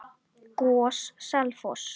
GOS- Selfoss